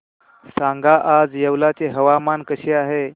सांगा आज येवला चे हवामान कसे आहे